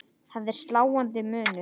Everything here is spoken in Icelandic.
Það er sláandi munur.